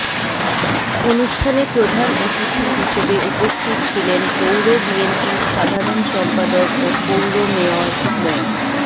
অনুষ্ঠানে প্রধান অতিথি হিসেবে উপস্থিত ছিলেন পৌর বিএনপির সাধারণ সম্পাদক ও পৌর মেয়র মো